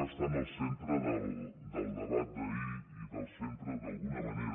va estar en el centre del debat d’ahir i en el centre d’alguna manera